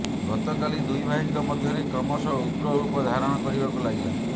ଗତକାଲି ଦୁଇ ଭାଇଙ୍କ ମଧ୍ୟରେ କ୍ରମଶଃ ଉଗ୍ର ରୂପ ଧାରଣ କରିବାକୁ ଲାଗିଲା